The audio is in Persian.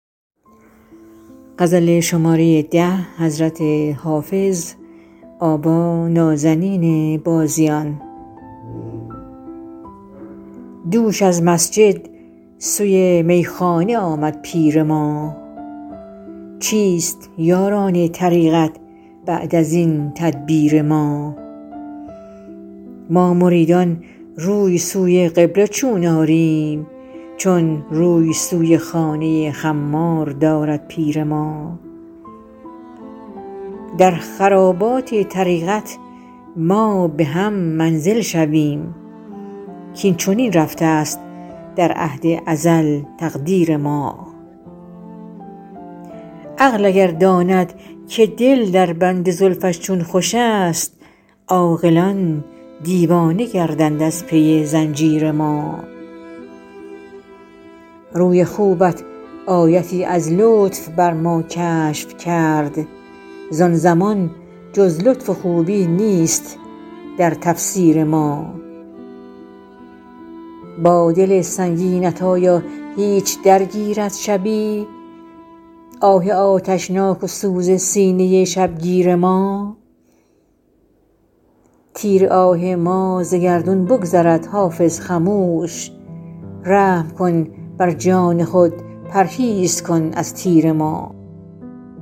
دوش از مسجد سوی میخانه آمد پیر ما چیست یاران طریقت بعد از این تدبیر ما ما مریدان روی سوی قبله چون آریم چون روی سوی خانه خمار دارد پیر ما در خرابات طریقت ما به هم منزل شویم کاین چنین رفته است در عهد ازل تقدیر ما عقل اگر داند که دل در بند زلفش چون خوش است عاقلان دیوانه گردند از پی زنجیر ما روی خوبت آیتی از لطف بر ما کشف کرد زان زمان جز لطف و خوبی نیست در تفسیر ما با دل سنگینت آیا هیچ درگیرد شبی آه آتشناک و سوز سینه شبگیر ما تیر آه ما ز گردون بگذرد حافظ خموش رحم کن بر جان خود پرهیز کن از تیر ما